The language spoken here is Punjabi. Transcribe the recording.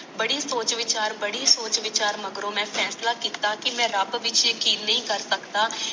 ਬੜੀ ਵੱਡੀ ਸੋਚ, ਵੱਡੀ ਸੋਚ, ਮਗਰੋਂ ਮੈਂ ਫੈਸਲੇ ਕੀਤਾ ਕੇ ਮੈ ਰਬ ਵਿਖੇ ਕਿ ਨਹੀਂ ਕਰ ਸਕਦਾ